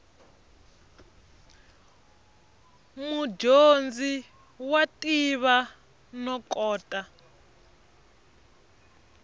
mudyondzi wa tiva no kota